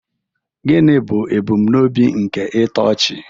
Gịnị bụ ebumnobi nke ntochi?